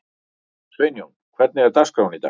Sveinjón, hvernig er dagskráin í dag?